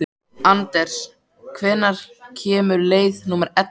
Anders, hvenær kemur leið númer ellefu?